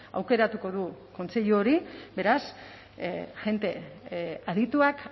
aukeratuko du kontseilu hori beraz jende adituak